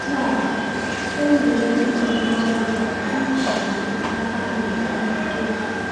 Taa, enwere mkpa ngwa ngwa ịkụzi aka anyị ike.